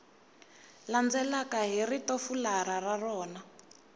landzelaka hi ritofularha ra rona